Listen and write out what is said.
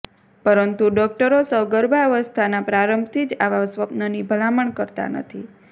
પરંતુ ડોકટરો સગર્ભાવસ્થાના પ્રારંભથી જ આવા સ્વપ્નની ભલામણ કરતા નથી